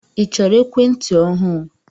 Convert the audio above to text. I chọrọ ekwentị ọhụụ?